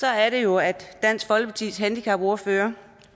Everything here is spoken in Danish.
er det jo at dansk folkepartis handicapordfører